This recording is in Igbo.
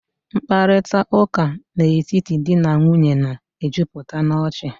Mkparịtaụ́ká n'etiti di na nwunye na-ejupụta n'ọchị